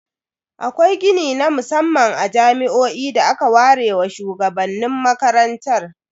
Akwai gini na musamman a jami'o'i da aka ware wa shuwagabannin makarantar.